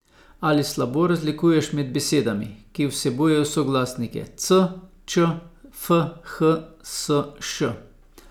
Ali slabo razlikuješ med besedami, ki vsebujejo soglasnike c, č, f, h, s, š?